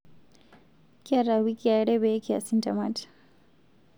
Kiata wikii are pee kias ntemat